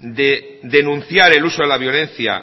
de denunciar el uso de la violencia